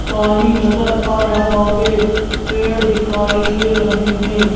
पानी नज़र आ रहा है पेड़ दिखाई दे रहे हैं।